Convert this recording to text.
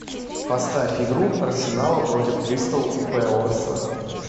поставь игру арсенала против кристал пэласа